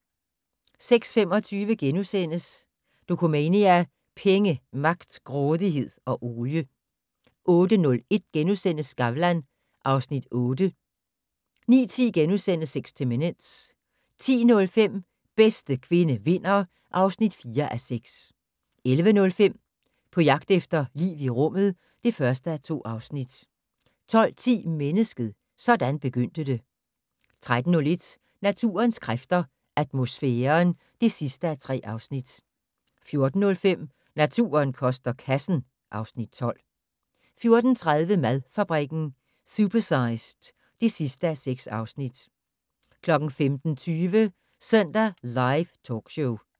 06:25: Dokumania: Penge, magt, grådighed og olie * 08:01: Skavlan (Afs. 8)* 09:10: 60 Minutes * 10:05: Bedste kvinde vinder (4:6) 11:05: På jagt efter liv i rummet (1:2) 12:10: Mennesket - sådan begyndte det 13:01: Naturens kræfter - atmosfæren (3:3) 14:05: Naturen koster kassen (Afs. 12) 14:30: Madfabrikken - supersized (6:6) 15:20: Søndag Live Talkshow